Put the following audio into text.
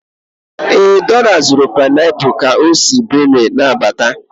Ee, Dora zụtara painapuls ka o si Benue na-abịa